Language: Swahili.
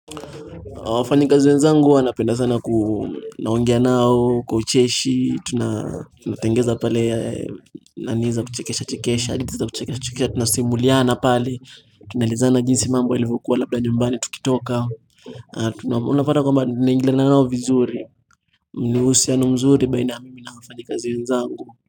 Wafanyikazi wenzangu huwa napenda sana kunaongea nao, kwa ucheshi, tunatengeza pale, naniza kuchekesha, chekesha, adithi za kuchekesha, chekesha, tunasimuliana pale, tunalizana jinsi mambo ilivyokuwa labda nyumbani tukitoka. Unapata kwa mba, tunaingiliana nao vizuri, ni uhusiano mzuri, baina mimi na wafanyi kazi wenzangu.